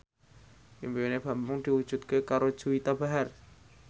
impine Bambang diwujudke karo Juwita Bahar